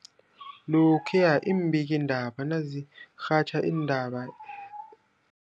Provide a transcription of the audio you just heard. Lokhuya iimbikiindaba nazirhatjha iindaba